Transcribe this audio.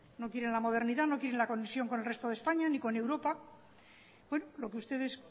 no quieren la modernidad no quieren la conexión con el resto de españa ni con europa bueno lo que ustedes